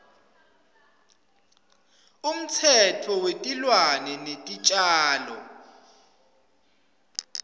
umtsetfo wetilwane netitjalo